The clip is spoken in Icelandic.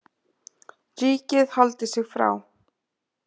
Ríkið haldi sig frá